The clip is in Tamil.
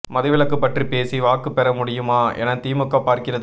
மதுவிலக்கு பற்றி பேசி வாக்கு பெற முடியுமா என திமுக பார்க்கிறது